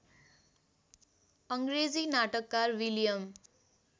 अङ्रेजी नाटककार विलियम